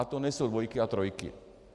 A to nejsou dvojky a trojky.